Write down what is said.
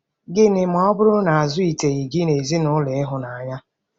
Gịnị ma ọ bụrụ na a zụliteghị gị n'ezinụlọ ịhụnanya?